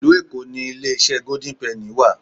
Ìlú Èkó ni ilé iṣẹ́ Gódín Pẹ́nì wà.